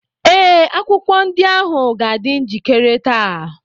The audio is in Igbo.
ee, akwụkwọ ndị ahụ ga-adị njikere taa.